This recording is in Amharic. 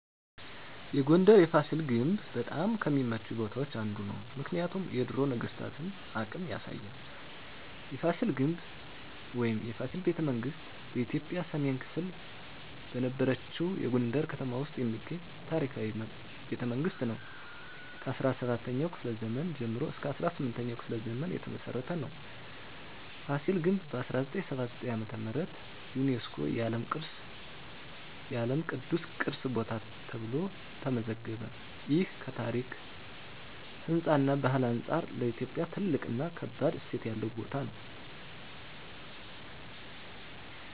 የጎንደር የፋሲል ግንብ በጣም ከሚመቹኝ ቦታዎች አንዱ ነው። ምክንያቱም የድሮ ነገስታቶን አቅም ያሳያል። የፋሲል ግንብ ወይም “የፋሲል ቤተመንግስት ” በኢትዮጵያ ሰሜን ክፍል በነበረችው የጎንደር ከተማ ውስጥ የሚገኝ ታሪካዊ ቤተመንግስት ነው። ከ17ኛው ክፍለ ዘመን ጀምሮ እስከ 18ኛው ክፍለ ዘመን የተመሰረተ ነው። ፋሲል ግንብ በ1979 ዓ.ም. ዩነስኮ የዓለም ቅዱስ ቅርስ ቦታ ተብሎ ተመዘገበ። ይህ ከታሪክ፣ ህንፃ እና ባህል አንጻር ለኢትዮጵያ ትልቅ እና ከባድ እሴት ያለው ቦታ ነው።